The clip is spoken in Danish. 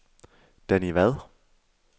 Danni Vad